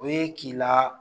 O ye k'i la